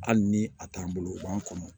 Hali ni a t'an bolo u b'an kɔnɔ